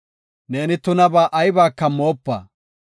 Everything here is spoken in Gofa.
Neeni tunaba aybaka moopa.